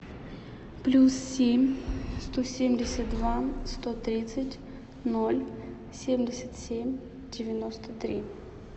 плюс семь сто семьдесят два сто тридцать ноль семьдесят семь девяносто три